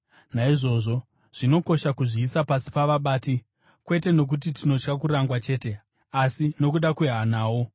Naizvozvo, zvinokosha kuzviisa pasi pavabati, kwete nokuti tinotya kurangwa chete, asi nokuda kwehanawo.